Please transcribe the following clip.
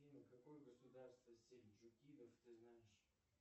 какое государство сельджукидов ты знаешь